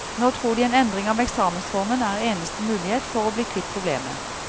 Nå tror de en endring av eksamensformen er eneste mulighet for å bli kvitt problemet.